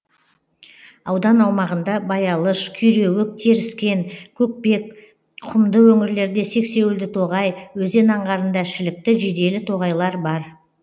аудан аумағында баялыш күйреуік теріскен көкпек құмды өңірлерде сексеуілді тоғай өзен аңғарында шілікті жиделі тоғайлар бар